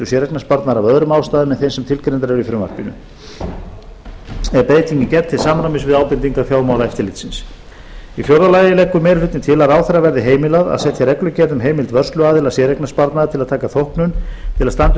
séreignarsparnaðar af öðrum ástæðum en þeim sem tilgreindar eru í frumvarpinu er breytingin gerð til samræmis við ábendingar fjármálaeftirlitsins fjórða meiri hlutinn leggur til að ráðherra verði heimilað að setja reglugerð um heimild vörsluaðila séreignarsparnaðar til að taka þóknun til að standa